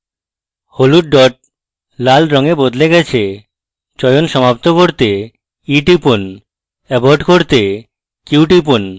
হলুদ dot লাল রঙে বদলে যাবে চয়ন সমাপ্ত করতে e টিপুন abort করতে q টিপুন